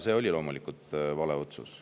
See oli loomulikult vale otsus.